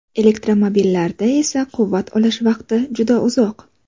Elektromobillarda esa quvvat olish vaqti juda uzoq.